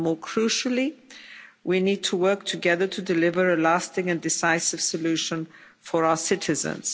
And more crucially, we need to work together to deliver a lasting and decisive solution for our citizens.